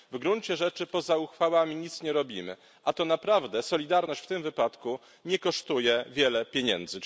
W gruncie rzeczy poza uchwałami nic nie robimy, a tak naprawdę solidarność w tym wypadku nie kosztuje wiele pieniędzy.